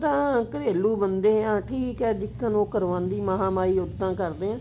ਆਂ ਘਰੇਲੂ ਬੰਦੇ ਹਾਂ ਠੀਕ ਹੈ ਜੀਕਣ ਉਹ ਕਰਵਾਉਂਦੀ ਮਹਾ ਮਾਈ ਉੱਦਾਂ ਕਰਦੇ ਹਾਂ